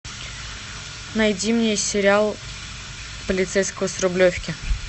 найди мне сериал полицейского с рублевки